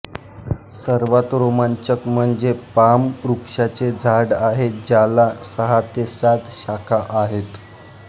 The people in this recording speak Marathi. सर्वात रोमांचक म्हणजे पाम वृक्षाचे झाड आहे ज्याला सहा ते सात शाखा आहेत